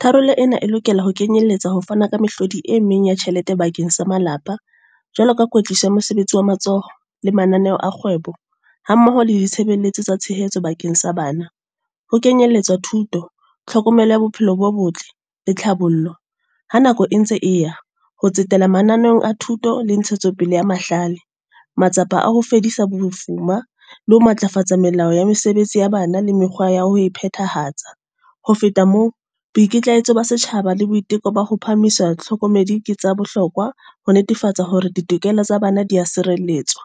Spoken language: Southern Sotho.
Tharollo ena e lokela ho kenyelletsa ho fana ka mehlodi e meng ya tjhelete bakeng sa malapa. Jwalo ka kwetlisa mosebetsi wa matsoho, le mananeo a kgwebo. Ha mmoho le ditshebeletso tsa tshehetso bakeng sa bana. Ho kenyelletswa thuto, tlhokomelo ya bophelo bo botle, le tlhabollo. Ha nako e ntse e ya, ho tsetela mananeo a thuto le ntshetsopele ya mahlale. Matsapa a ho fedisa bofuma, le ho matlafatsa melao ya mesebetsi ya bana le mekgwa ya ho phethahatsa. Ho feta moo, boikitlahetso ba setjhaba le boiteko ba ho phahamisa hlokomedi ke tsa bohlokwa. Ho netefatsa hore ditokelo tsa bana dia sireletswa.